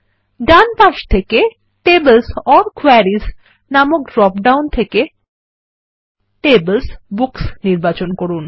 ডান পাশ থেকে tables or queries নামক ড্রপ ডাউন থেকে TablesBooks নির্বাচন করুন